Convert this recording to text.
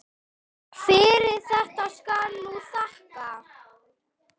Fyrir þetta skal nú þakkað.